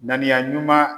Ŋaniya ɲuman